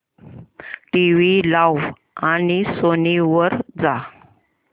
TV लाव आणि Sony वर जा